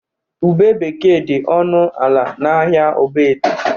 Ube bekee dị ọnụ ala n'ahịa Ogbete.